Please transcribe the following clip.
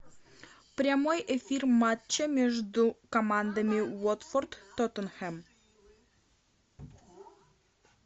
прямой эфир матча между командами уотфорд тоттенхэм